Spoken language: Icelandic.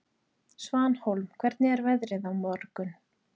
Svanhólm, hvernig er veðrið á morgun?